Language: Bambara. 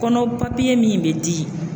Kɔnɔ papiye min bɛ di